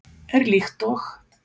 er líkt og